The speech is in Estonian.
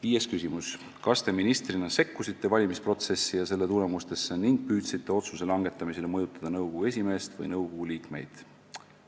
Viies küsimus: "Kas Te ministrina sekkusite valimisprotsessi ja selle tulemusesse ning püüdsite otsuse langetamisel mõjutada nõukogu esimeest või nõukogu liikmeid?